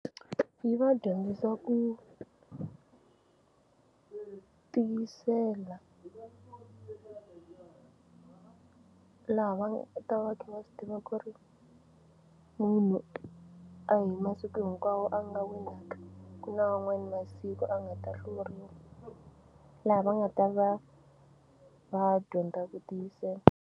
Yi va dyondzisa ku tiyisela laha va ta va kha va swi tiva ku ri munhu a hi masiku hinkwawo a nga winaka ku na wan'wani masiku a nga ta hluriwa laha va nga ta va va dyondza ku tiyisela.